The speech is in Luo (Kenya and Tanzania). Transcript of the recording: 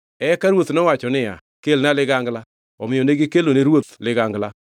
Eka ruoth nowacho niya, “Kelna ligangla.” Omiyo negikelone ruoth ligangla.